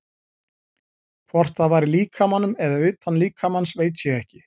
Hvort það var í líkamanum eða utan líkamans veit ég ekki.